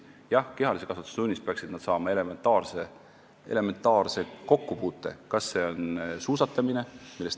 Jah, kehalise kasvatuse tunnis peaksid nad elementaarse kokkupuute saama.